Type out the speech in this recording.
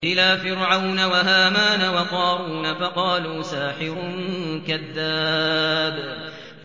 إِلَىٰ فِرْعَوْنَ وَهَامَانَ وَقَارُونَ فَقَالُوا سَاحِرٌ كَذَّابٌ